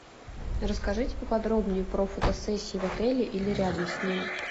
расскажите по подробнее про фотосессию в отеле или рядом с ним